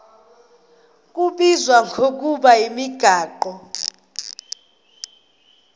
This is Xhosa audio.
kubizwa ngokuba yimigaqo